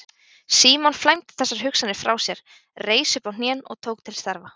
Símon flæmdi þessar hugsanir frá sér, reis upp á hnén og tók til starfa.